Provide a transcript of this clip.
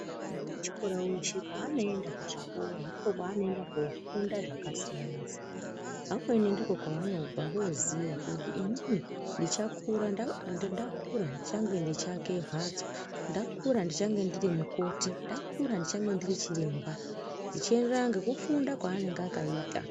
Mwana wechikora weshe paanoenda kuchikora ndipo panoenda kofunda zvakasiyana siyana vamweni ndikwo kwavanobva Voziya kuti ini ndichakura ndai ndakura ndichange ndeiake mhatso ndakura ndichange ndiri mukoti ndakura ndichange ndiri chiremba zvichienderana ngekufunda kwaanenge akaita.